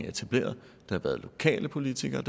etableret har været lokale politikere